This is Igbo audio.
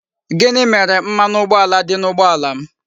Gini mere mmanụ ụgboala di n'ụgboala m?